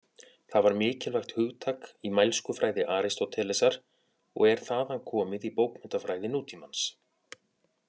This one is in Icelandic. Það var mikilvægt hugtak í mælskufræði Aristótelesar og er þaðan komið í bókmenntafræði nútímans.